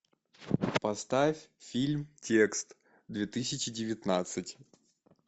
поставь фильм текст две тысячи девятнадцать